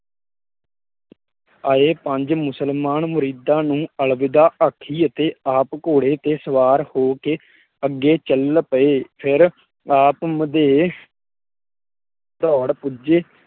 ਆਏ ਪੰਜ ਮੁਸਮਲਾਨਾਂ ਨੂੰ ਮੁਰੀਦਾਂ ਨੂੰ ਅਲਵੀਦਾਂ ਆਖੀ ਅਤੇ ਆਪ ਘੋੜੇ ਤੇ ਸਵਾਰ ਹੋ ਕੇ ਅੱਗੇ ਚੱਲ ਪਏ ਫਿਰ ਆਪ ਮੁਦੇਹ ਦੋੜ ਪੁੱਜੇ